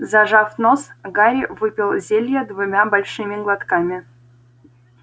зажав нос гарри выпил зелье двумя большими глотками